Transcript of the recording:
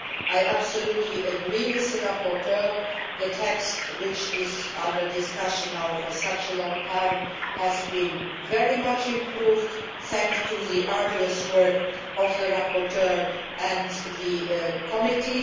I absolutely agree with the rapporteur that the text which has been under discussion for such a long time has been very much improved thanks to the arduous work of the rapporteur and the committee.